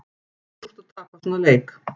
Helvíti súrt að tapa svona leik